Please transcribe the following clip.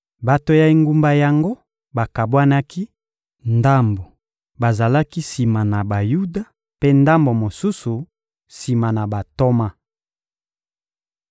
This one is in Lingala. Bato ya engumba yango bakabwanaki: ndambo bazalaki sima na Bayuda, mpe ndambo mosusu, sima na bantoma.